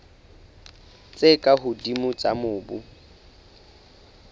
tse ka hodimo tsa mobu